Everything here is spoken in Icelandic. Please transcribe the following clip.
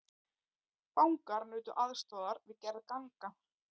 Fangar nutu aðstoðar við gerð ganga